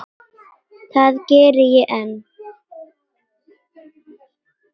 Það geri ég enn.